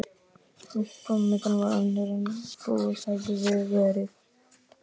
En framvindan varð önnur en búist hafði verið við.